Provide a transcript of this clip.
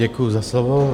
Děkuji za slovo.